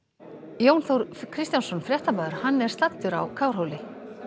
Jón Þór Kristjánsson fréttamaður er á Kárhóli